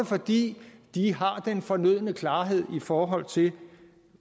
fordi de har den fornødne klarhed i forhold til